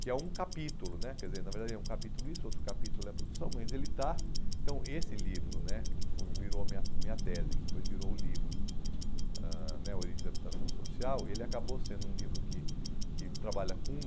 que é um capítulo né, quer dizer, na verdade é um capítulo isso, outro capítulo é produção, mas ele está... Então, esse livro, né foi que virou minha minha tese, que depois virou o livro ãh né Origens da Habitação Social, ele acabou sendo um livro que que trabalha com...